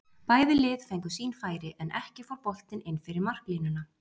Bæði lið fengu sín færi en ekki fór boltinn inn fyrir marklínuna.